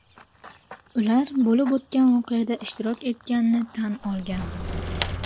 Ular bo‘lib o‘tgan voqeada ishtirok etganini tan olgan.